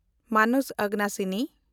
ᱢᱟᱱᱚᱥ ᱟᱜᱟᱱᱟᱥᱤᱱᱤ